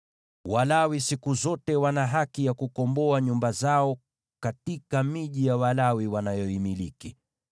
“ ‘Walawi siku zote wana haki ya kukomboa nyumba zao katika miji ya Walawi wanayoimiliki.